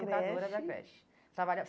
Creche educadora da creche.